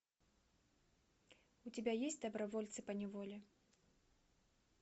у тебя есть добровольцы по неволе